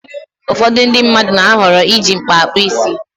Ụfọdụ ndị mmadụ na-ahọrọ iji mkpa akpụ isi.